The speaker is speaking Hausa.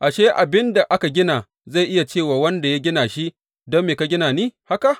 Ashe, abin da aka gina zai iya ce wa wanda ya gina shi, Don me ka gina ni haka?’